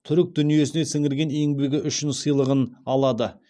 түрік дүниесіне сіңірген еңбегі үшін сыйлығын алады